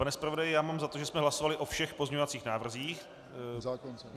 Pane zpravodaji, já mám za to, že jsme hlasovali o všech pozměňovacích návrzích?